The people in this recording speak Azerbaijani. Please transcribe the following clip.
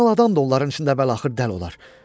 Normal adam da onların içində əvvəl-axır dəli olar.